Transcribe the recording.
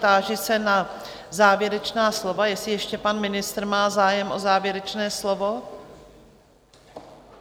Táži se na závěrečná slova, jestli ještě pan ministr má zájem o závěrečné slovo?